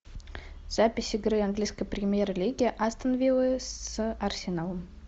запись игры английской премьер лиги астон виллы с арсеналом